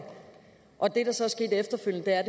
og det der så er sket efterfølgende er